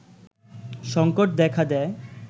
সংকট দেখা দেয়